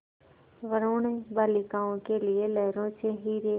वरूण बालिकाओं के लिए लहरों से हीरे